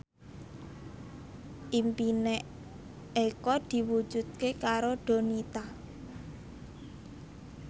impine Eko diwujudke karo Donita